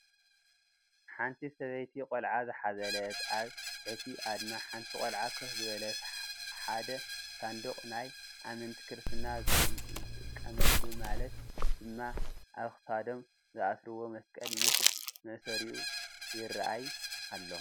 ሓንቲ ሰበይቲ ቆልዓ ዝሓዘለትን ኣብ ትሕቲ ኣድማ ሓንቲ ቆልዓ ኮፍ ዝበለትን ሓደ ሳንዱቅ ናይ ኣመንቲ ክርስትና ዝጥቀሙሉ ማለት ድማ ኣብ ክሳዶም ዘኣስሩዎ መስቀል ምስ መእሰሪኡ ይራኣይ ኣሎ::